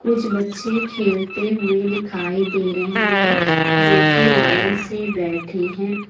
कुछ बच्चे खेलते हुए दिखाई दे रहे हैं जो की लाइन से बैठे हैं।